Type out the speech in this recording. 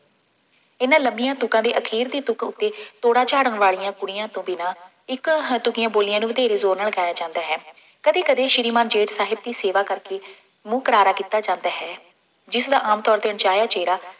ਇਹਨਾ ਲੰਮੀਆਂ ਤੁਕਾਂ ਦੇ ਆਖੀਰਲੀ ਤੁਕ ਉੱਤੇ ਤੋੜਾ ਝਾੜਨ ਵਾਲੀਆਂ ਕੁੜੀਆਂ ਤੋਂ ਬਿਨਾ ਇਕ ਹ ਤੁੱਕੀਆਂ ਬੋਲੀਆਂ ਨੂੰ ਵਧੇਰੇ ਜ਼ੋਰ ਨਾਲ ਗਾਇਆ ਜਾਂਦਾ ਹੈ, ਕਦੇ ਕਦੇ ਸ਼੍ਰੀਮਾਨ ਜੇਠ ਸਾਹਿਬ ਦੀ ਸੇਵਾ ਕਰਕੇ ਮੂੰਹ ਕਰਾਰਾ ਕੀਤਾ ਜਾਂਦਾ ਹੈ। ਜਿਸਦਾ ਆਮ ਤੌਰ ਤੇ ਅਣ-ਚਾਹਿਆਂ ਚਿਹਰਾ